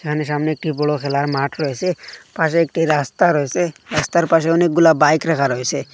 এখানে সামনে একটি বড় খেলার মাঠ রয়েসে পাশে একটি রাস্তা রয়েসে রাস্তার পাশে অনেকগুলা বাইক রাখা রয়েসে।